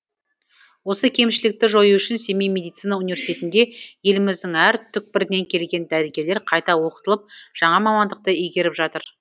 осы кемшілікті жою үшін семей медицина университетінде еліміздің әр түкпірінен келген дәрігерлер қайта оқытылып жаңа мамандықты игеріп жатыр